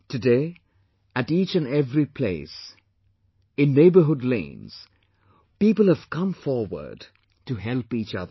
Today at each and every place, in neighbourhood lanes, people have come forward to help each other